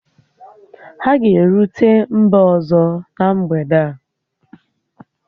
Ha ga-erute mba ọzọ na mgbede a